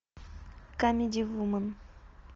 камеди вумен